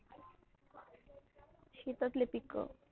शेतातले पिक.